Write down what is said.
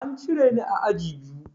An cire ni a aji biyu.